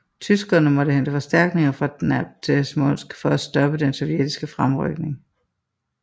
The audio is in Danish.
Tyskerne måtte hente forstærknigner fra Dnepr til Smolensk for at stoppe den sovjetiske fremrykning